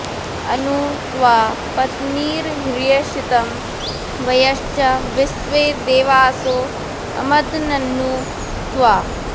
अनु॑ त्वा॒ पत्नी॑र्हृषि॒तं वय॑श्च॒ विश्वे॑ दे॒वासो॑ अमद॒न्ननु॑ त्वा